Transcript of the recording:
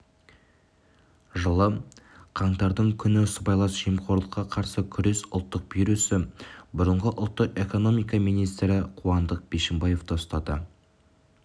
жылы қаңтардың күні сыбайлас жемқорлыққа қарсы күрес ұлттық бюросы бұрынғы ұлттық экономика министрі қуандық бишімбаевты ұстады